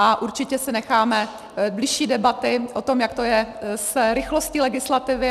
A určitě si necháme bližší debaty o tom, jak to je s rychlostí legislativy.